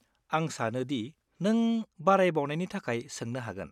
आं सानो दि नों बारायबावनायनि थाखाय सोंनो हागोन।